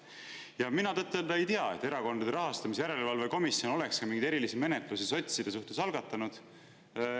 Ja mina tõtt-öelda ei tea, et Erakondade Rahastamise Järelevalve Komisjon oleks ka mingeid erilisi menetlusi sotside suhtes algatanud.